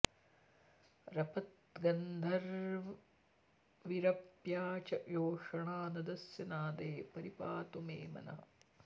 रपद्गन्धर्वीरप्या च योषणा नदस्य नादे परि पातु मे मनः